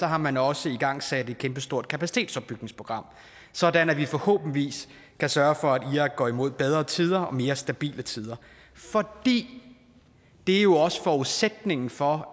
har man også igangsat et kæmpestort kapacitetsopbygningsprogram sådan at vi forhåbentlig kan sørge for at irak går imod bedre tider og mere stabile tider for det er jo også forudsætningen for